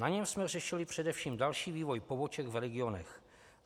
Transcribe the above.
Na něm jsme řešili především další vývoj poboček v regionech.